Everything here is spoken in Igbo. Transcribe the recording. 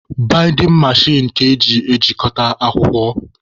Baịdịn mechin ka eji ejikọta akwụkwọ.